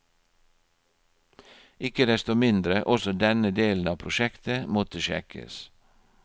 Ikke desto mindre, også denne delen av prosjektet måtte sjekkes.